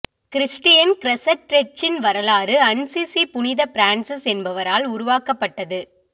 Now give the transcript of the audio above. Christian க்ரெஷெ ட்ரெட்ச்சின் வரலாறு அன்சிசி புனித பிரான்சிஸ் என்பவரால் உருவாக்கப்பட்டது